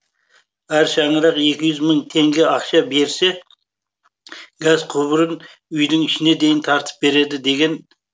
әр шаңырақ екі жүз мың теңге ақша берсе газ құбырын үйдің ішіне дейін тартып береді деген